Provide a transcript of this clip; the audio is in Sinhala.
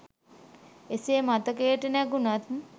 එසේ මතකයට නැඟුනත්